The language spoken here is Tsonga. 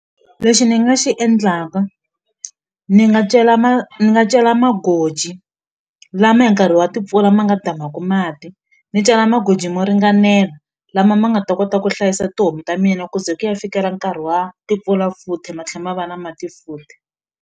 Lexi ni nga xi endlaka ni nga cela nga cela magoji lama hi nkarhi wa timpfula ma nga damaku mati ni cela magoji mo ringanela lama ma nga ta kota ku hlayisa tihomu ta mina ku ze ku ya fikela nkarhi wa timpfula futhi ma tlhe ma va na mati futhi.